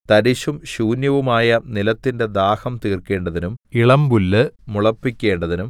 തരിശും ശൂന്യവുമായ നിലത്തിന്റെ ദാഹം തീർക്കേണ്ടതിനും ഇളമ്പുല്ല് മുളപ്പിക്കേണ്ടതിനും